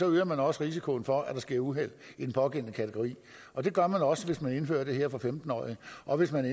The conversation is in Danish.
øger man også risikoen for at der sker uheld i den pågældende kategori og det gør man også hvis man indfører det her for femten årige og hvis man